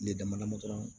Ne damadama dɔrɔn